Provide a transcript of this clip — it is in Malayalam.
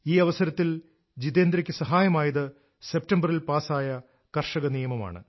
ഈ അവസരത്തിൽ ജിതെന്ദ്രക്ക് സഹായമായത് സെപ്റ്റംബറിൽ പാസായ കർഷക നിയമമാണ്